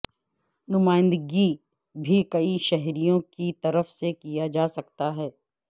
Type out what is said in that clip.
نمائندگی بھی کئی شہریوں کی طرف سے کیا جا سکتا ہے